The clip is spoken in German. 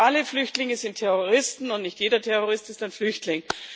Nicht alle Flüchtlinge sind Terroristen, und nicht jeder Terrorist ist ein Flüchtling.